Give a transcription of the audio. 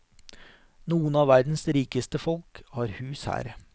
Noen av verdens rikeste folk har hus her.